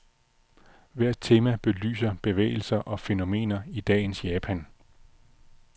Hvert tema belyser bevægelser og fænomener i dagens japan.